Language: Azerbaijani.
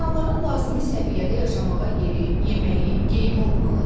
İnsanların lazımi səviyyədə yaşamağa yeri, yeməyi, geyimi olmalıdır.